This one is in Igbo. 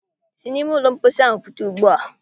Si n'ime ụlọ mposi ahụ pụta ugbu a!